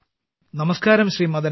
നമസ്കാരം നമസ്കാരം ശ്രീ